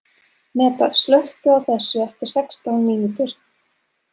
Meda, slökktu á þessu eftir sextán mínútur.